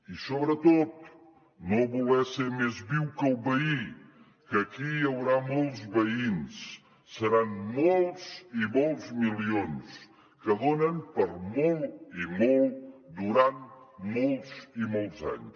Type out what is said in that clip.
i sobretot no voler ser més viu que el veí que aquí hi haurà molts veïns seran molts i molts milions que donen per a molt i molt durant molts i molts anys